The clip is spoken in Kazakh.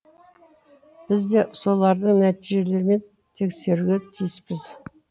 біз де солардың нәтижелерімен тексеруге тиіспіз